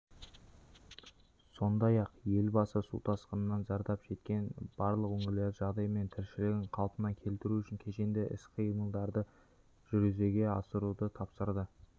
сондай-ақ елбасы су тасқынынан зардап шеккен барлық өңірлердің жағдайы мен тіршілігін қалпына келтіру үшін кешенді іс-қимылдарды жүзеге асыруды тапсырды